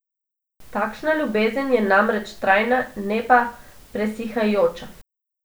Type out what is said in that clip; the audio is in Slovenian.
Takšna ljubezen je namreč trajna, ne pa presihajoča.